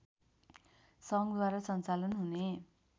सङ्घद्वारा सञ्चालन हुने